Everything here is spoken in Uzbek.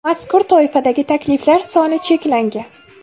Mazkur toifadagi takliflar soni cheklangan.